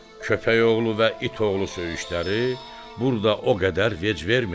Köpək oğlu və it oğlu söyüşləri burda o qədər vec vermirdi.